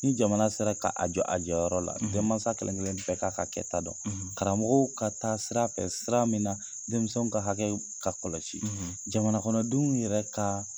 Ni jamana sera k'a jɔ a jɔyɔrɔ la denmansa klenkelen bɛɛ k'a ka kɛta dɔn karamɔgɔw ka taa sira fɛ sira min na denmisɛnw ka hakɛ ka kɔlɔsi jamana kɔnɔdenw yɛrɛ ka